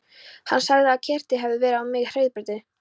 Hann sagði að keyrt hefði verið á mig á hraðbrautinni.